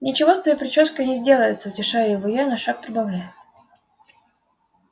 ничего с твоей причёской не сделается утешаю его я но шаг прибавляю